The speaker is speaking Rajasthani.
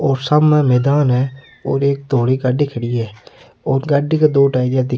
और सामने मैदान है और एक डोरी गाड़ी खड़ी है ओ गाड़ी के दो टायर इया दिख --